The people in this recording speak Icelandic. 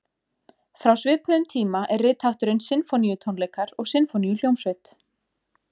Frá svipuðum tíma er rithátturinn sinfóníutónleikar og sinfóníuhljómsveit.